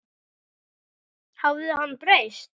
Hafði hann breyst?